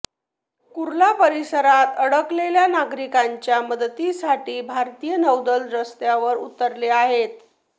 कुर्ला परिसरात अडकलेल्या नागरिकांच्या मदतीसाठी भारतीय नौदल रस्त्यावर उतरले आहेत